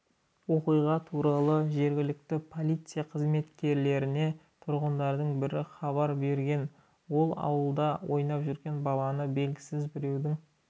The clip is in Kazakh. оқиға туралы жергілікті полиция қызметкерлеріне тұрғындардың бірі хабар берген ол аулада ойнап жүрген баланы белгісіз біреудің